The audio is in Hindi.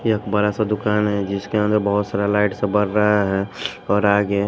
ये एक बड़ा सा दुकान हैजिसके अंदर बहुत सारा लाइट सा बर रहा है और आगे--